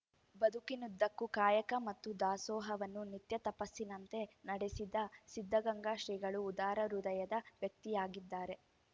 ಬದುಕಿನುದ್ದಕ್ಕೂ ಕಾಯಕ ಮತ್ತು ದಾಸೋಹವನ್ನು ನಿತ್ಯ ತಪಸ್ಸಿನಂತೆ ನಡೆಸಿದ ಸಿದ್ಧಗಂಗಾ ಶ್ರೀಗಳು ಉದಾರ ಹೃದಯದ ವ್ಯಕ್ತಿಯಾಗಿದ್ದಾರೆ